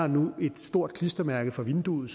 nu et stort klistermærke for vinduet